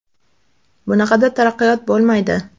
Bunaqada taraqqiyot bo‘lmaydi.